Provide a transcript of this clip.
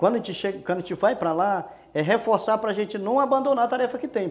Quando a gente vai para lá, é reforçar para gente não abandonar a tarefa que tem.